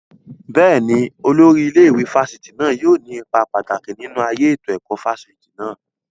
Bẹ́ẹ̀ni, Olórí ilé ìwé fásitì náà yóò ní ipa pàtàkì nínú ayé ètò ẹ̀kọ́ fáfitì náà